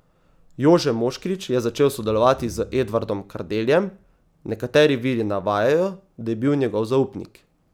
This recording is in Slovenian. Jože Moškrič je začel sodelovati z Edvardom Kardeljem, nekateri viri navajajo, da je bil njegov zaupnik.